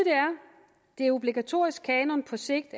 er at obligatorisk kanon på sigt